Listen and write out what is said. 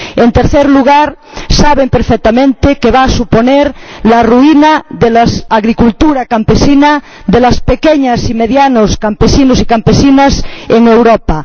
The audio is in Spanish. En tercer lugar, saben perfectamente que va a suponer la ruina de la agricultura campesina, de los pequeños y medianos campesinos y campesinas en Europa.